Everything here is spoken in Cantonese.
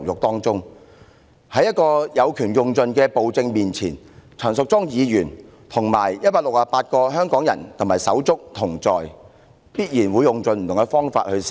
面對這個有權用盡的暴政，陳淑莊議員和168名香港人手足必定會一起堅持到底。